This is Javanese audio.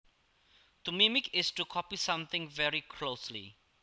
To mimic is to copy something very closely